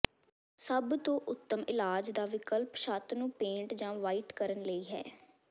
ਸਭ ਤੋਂ ਉੱਤਮ ਇਲਾਜ ਦਾ ਵਿਕਲਪ ਛੱਤ ਨੂੰ ਪੇਂਟ ਜਾਂ ਵ੍ਹਾਈਟ ਕਰਨ ਲਈ ਹੈ